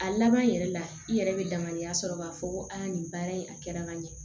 A laban yɛrɛ la i yɛrɛ bɛ damadiya sɔrɔ k'a fɔ ko a nin baara in a kɛra ka ɲɛ